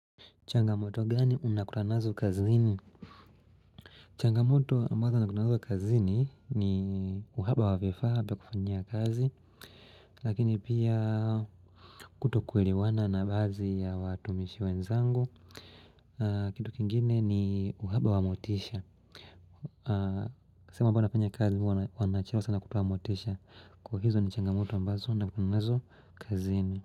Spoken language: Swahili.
Changamoto gani unakutana nazo kazini? Changamoto ambazo ninakutana nazo kazini ni, uhaba wa vifaa vya kufanyia kazi Lakini pia kutokuelewana na baadhi ya watumishi wenzangu kitu kingine ni uhaba wa motisha. Sehemu ambapo nafanyia kazi huwa wanachelewa sana kutoa motisha. Hizo ni changamoto ambazo ninakumbana nazo kazini.